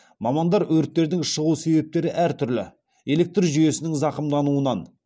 мамандар өрттердің шығу себептері әртүрлі электр жүйесінің зақымдануынан